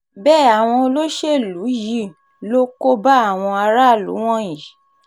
bẹ́ẹ̀ àwọn olóṣèlú yìí ló kó bá àwọn aráàlú wọ̀nyí